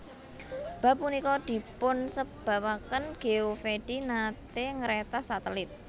Bab punika dipunsebabaken Geovedi nate ngretas satelit